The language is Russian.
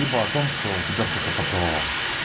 либо о том что тебя кто-то поцеловал